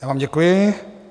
Já vám děkuji.